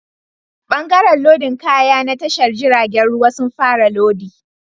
Bangaren lodin kaya na tashar jiragen ruwa sun fara lodi